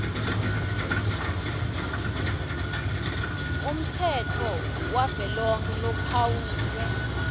umtsetfo wavelonkhe lophawulwe